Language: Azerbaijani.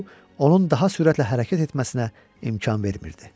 Bu onun daha sürətlə hərəkət etməsinə imkan vermirdi.